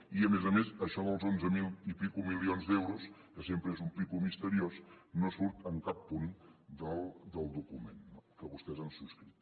i a més a més això dels onze mil i escaig milions d’euros que sempre és un escaig misteriós no surt en cap punt del document que vostès han subscrit